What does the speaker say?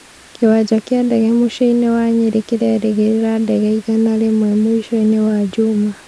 Kĩwanja kĩa ndege mũciĩinĩ wa nyerĩ kirerĩgĩrĩra ndege igana rĩmwe mũicoine wa njuma